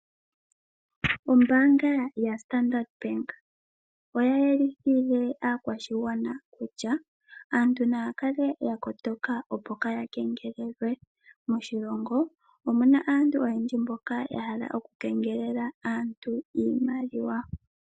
Ombaanga yaStandard oya yelithile aakwashigwana kutya aantu naya kale yakotoka opo kaya kengelelwe. Moshilongo omuna aantu oyendji mboka yahala oku kengelela aantu iimaliwa.